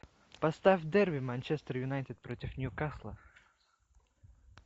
поставь дерби манчестер юнайтед против ньюкасла